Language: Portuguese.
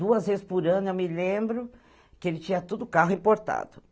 Duas vezes por ano, eu me lembro, que ele tinha tudo carro importado.